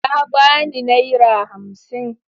Ya ba ni naira hamsin.